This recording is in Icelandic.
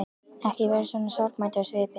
Ekki vera svona sorgmæddur á svipinn.